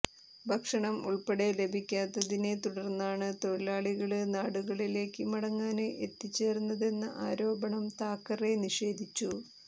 ഭക്ഷണം ഉള്പ്പെടെ ലഭിക്കാത്തതിനെ തുടര്ന്നാണ് തൊഴിലാളികള് നാടുകളിലേക്ക് മടങ്ങാന് എത്തിച്ചേര്ന്നതെന്ന ആരോപണം താക്കറെ നിഷേധിച്ചു